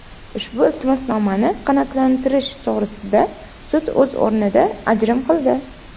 Ushbu iltimosnomani qanoatlantirish to‘g‘risida sud o‘z o‘rnida ajrim qildi.